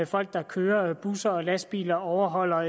folk der kører busser og lastbiler overholder